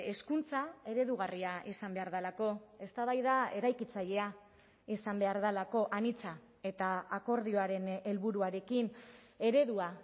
hezkuntza eredugarria izan behar delako eztabaida eraikitzailea izan behar delako anitza eta akordioaren helburuarekin eredua